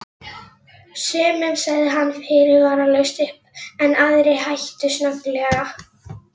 Sumum sagði hann fyrirvaralaust upp en aðrir hættu snögglega.